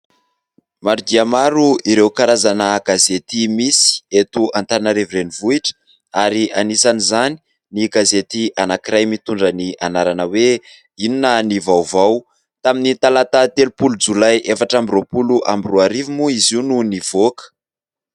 Maro dia maro ireo karazana gazety misy eto Antananarivo renivohitra ary anisan' izany ny gazety anankiray mitondra ny anarana hoe : inona ny vaovao, tamin'ny talata telom-polo jolay efatra amby roa-polo amby roa arivo moa izy io no nivoaka.